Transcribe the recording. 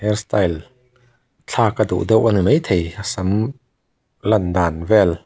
hair style thlak a duh deuh a ni maithei a sam lan dan vel--